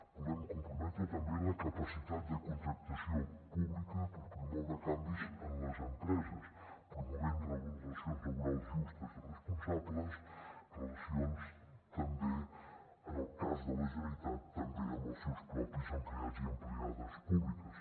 volem comprometre també la capacitat de contractació pública per promoure can·vis en les empreses promovent relacions laborals justes i responsables relacions també en el cas de la generalitat amb els seus propis empleats i empleades públiques